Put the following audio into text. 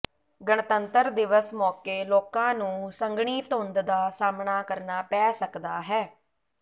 ਗਣਤੰਤਰ ਦਿਵਸ ਮੌਕੇ ਲੋਕਾਂ ਨੂੰ ਸੰਘਣੀ ਧੁੰਦ ਦਾ ਸਾਹਮਣਾ ਕਰਨਾ ਪੈ ਸਕਦਾ ਹੈ